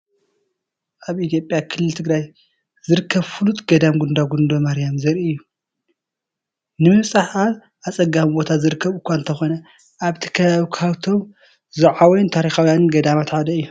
ኣብ ኢትዮጵያ ክልል ትግራይ ዝርከብ ፍሉጥ ገዳም ጉንዳጉንዶ ማርያም ዘርኢ እዩ። ንምብጻሕ ኣብ ኣጸጋሚ ቦታ ዝርከብ እኳ እንተኾነ፡ ኣብቲ ከባቢ ካብቶም ዝዓበዩን ታሪኻውያንን ገዳማት ሓደ እዩ።